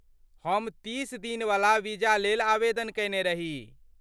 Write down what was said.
हम तीस दिनवला वीजा लेल आवेदन कएने रही।